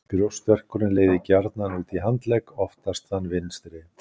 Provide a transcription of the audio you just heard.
Brjóstverkurinn leiðir gjarnan út í handlegg, oftast þann vinstri.